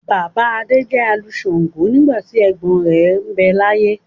Bàbá Adé jẹ́ alu shàǹgo nígbà tí ẹ̀gbọ́n rẹ̀ ń bẹ láyé.